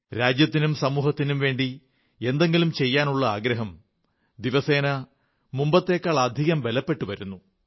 രാജ്യത്തിനും സമൂഹത്തിനും വേണ്ടി എന്തെങ്കിലും ചെയ്യാനുള്ള വികാരം ദിവസേന മുമ്പത്തേക്കാളുമധികം ബലപ്പെട്ടു വരുന്നു